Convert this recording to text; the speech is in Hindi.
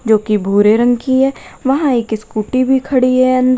जो की भूरे रंग की है वहां एक स्कूटी भी खड़ी है अंदर।